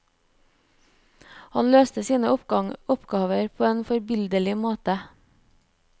Han løste sine oppgaver på en forbilledlig måte.